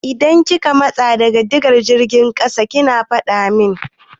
Idan kika matsa daga digar jirgin ƙasa ki faɗa min!